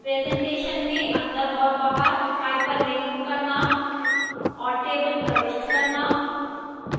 presentation में और बाहर hyperlink करना और tables प्रविष्ट करना